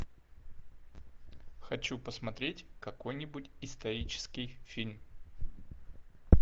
хочу посмотреть какой нибудь исторический фильм